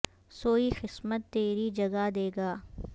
سوئی قسمت تری جگا دے گا